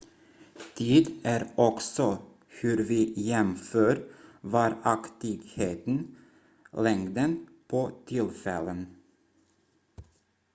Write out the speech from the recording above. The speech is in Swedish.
tid är också hur vi jämför varaktigheten längden på tillfällen